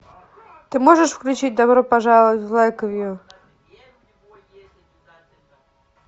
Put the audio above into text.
ты можешь включить добро пожаловать в лэйквью